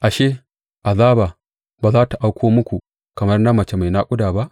Ashe, azaba ba za tă auko muku kamar na mace mai naƙuda ba?